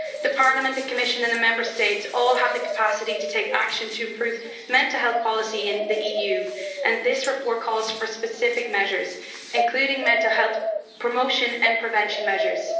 Parliament, the Commission and the Member States all have the capacity to take action to improve mental health policy in the EU, and this report calls for specific measures including mental health promotion and prevention measures.